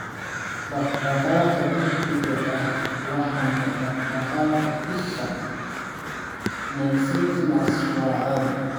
Dhaqdhaqaaqa degdega ah, laxanka, dhaqdhaqaaqa isha (nystagmus) waa caadi.